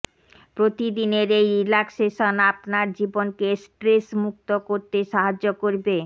প্রতি দিনের এই রিল্যাক্সেশন আপনার জীবনকে স্ট্রেস মুক্ত করতে সাহায্য করবে